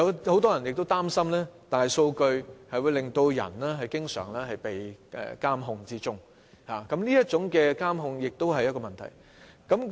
很多人擔心大數據令人經常被監控，這是第二種觀點。